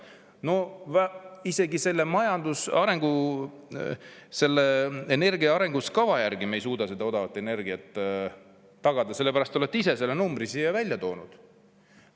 No isegi selle energia arengukava järgi me ei suuda seda odavat energiat tagada, te olete ise selle numbri siin välja toonud.